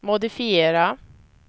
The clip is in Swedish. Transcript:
modifiera